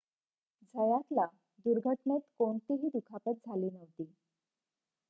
झयातला दुर्घटनेत कोणतीही दुखापत झाली नव्हती